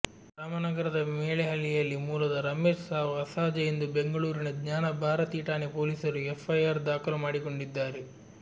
ರಾಮನಗರದ ಮೆಳೇಹಳ್ಳಿಯಲ್ಲಿ ಮೂಲದ ರಮೇಶ್ ಸಾವು ಅಸಹಜ ಎಂದು ಬೆಂಗಳೂರಿನ ಜ್ಞಾನ ಭಾರತಿ ಠಾಣೆ ಪೊಲೀಸರು ಎಫ್ಐಆರ್ ದಾಖಲು ಮಾಡಿಕೊಂಡಿದ್ದಾರೆ